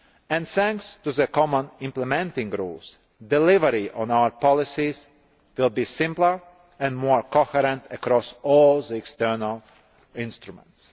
And thanks to the common implementing rules, delivery on our policies will be simpler and more coherent across all the external action instruments.